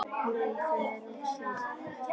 Nei, það er of seint.